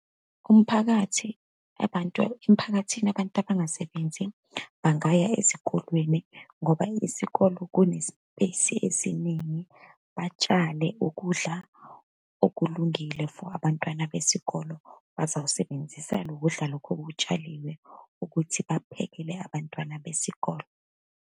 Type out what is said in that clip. Umphakathi, abantu emphakathini, abantu abangasebenzi bangaya ezikolweni, ngoba isikolo kune-space esiningi. Batshale ukudla okulungile for abantwana besikolo, bazowusebenzisa lokudla lokhu okutshaliwe ukuthi baphekele abantwana besikolo.